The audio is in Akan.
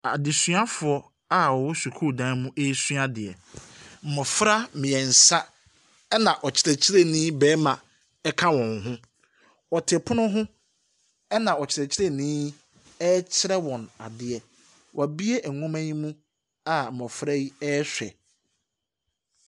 Adesuafoɔ a ɔwɔ sukuudan mu esua adeɛ. Mmɔfra mmiɛnsa ɛna ɔkyerɛkyerɛnii barima ɛka wɔn ho. Ɔte pono ho na ɔkyerɛkyerɛnii yi ɛɛtwerɛ wɔn adeɛ. W'abue nnwoma yi mu a mmɔfra yi ɛrehwɛ.